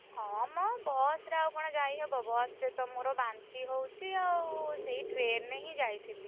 ହଁ ମ ବସ୍ ରେ ଆଉ କଣ ଯାଇହବ? ବସ୍ ରେ ତ ମୋର ବାନ୍ତି ହଉଛି ଆଉ ସେଇ train ରେ ହିଁ ଯାଇଥିଲି।